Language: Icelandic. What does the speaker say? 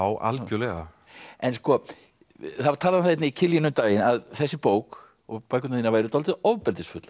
algjörlega það var talað um það í Kiljunni um daginn að þessi bók og bækurnar þínar væru dálítið ofbeldisfullar